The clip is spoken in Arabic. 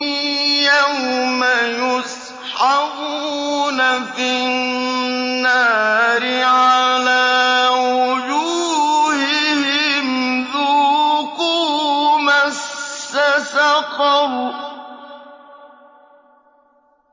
يَوْمَ يُسْحَبُونَ فِي النَّارِ عَلَىٰ وُجُوهِهِمْ ذُوقُوا مَسَّ سَقَرَ